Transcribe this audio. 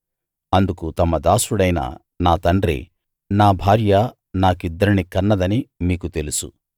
అందుకు తమ దాసుడైన నా తండ్రి నా భార్య నాకిద్దరిని కన్నదని మీకు తెలుసు